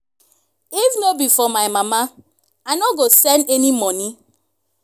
if no be for my mama i no go send any money